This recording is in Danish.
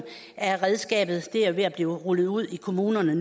af redskabet det er ved at blive rullet ud i kommunerne